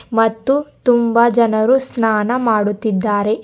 ಮತ್ತು ತುಂಬ ಜನರು ಸ್ನಾನ ಮಾಡುತ್ತಿದ್ದಾರೆ.